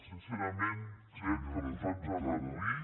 sincerament crec que posats a reduir